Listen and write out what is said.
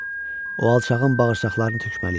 O alçağın bağırsaqlarını tökməliyəm.